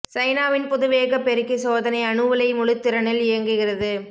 சைனாவின் புது வேகப் பெருக்கிச் சோதனை அணு உலை முழுத்திறனில் இயங்குகிறது